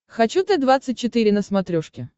хочу т двадцать четыре на смотрешке